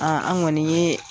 an kɔni ye